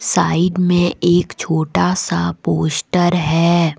Side में एक छोटा सा पोस्टर है।